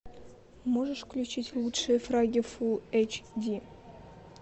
можешь включить лучшие фраги фулл эйч ди